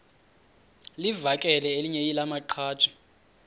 livakele elinye lamaqhaji